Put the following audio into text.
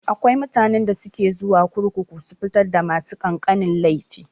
Akwai mutanen da ke zuwa kurkuku su fitar da masu ƙananan laifi.